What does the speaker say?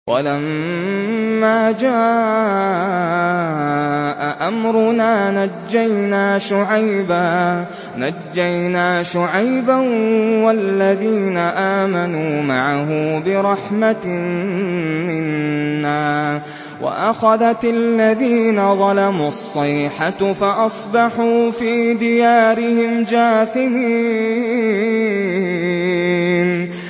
وَلَمَّا جَاءَ أَمْرُنَا نَجَّيْنَا شُعَيْبًا وَالَّذِينَ آمَنُوا مَعَهُ بِرَحْمَةٍ مِّنَّا وَأَخَذَتِ الَّذِينَ ظَلَمُوا الصَّيْحَةُ فَأَصْبَحُوا فِي دِيَارِهِمْ جَاثِمِينَ